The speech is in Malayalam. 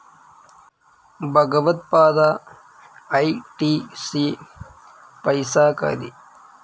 ഭഗവത് പാതാ ഐ. ടി. സി. പൈസ്സാകാരി